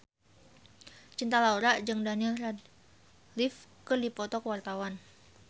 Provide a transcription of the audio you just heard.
Cinta Laura jeung Daniel Radcliffe keur dipoto ku wartawan